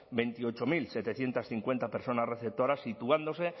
veintiocho mil setecientos cincuenta personas receptoras situándose